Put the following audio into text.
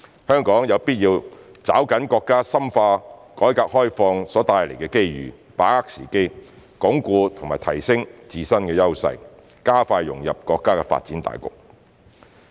香港有必要抓緊國家深化改革開放所帶來的機遇，把握時機，鞏固及提升自身優勢，加快融入國家發展大局。